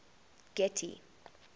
getty